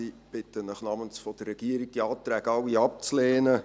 Ich bitte Sie im Namen der Regierung, diese Anträge alle abzulehnen.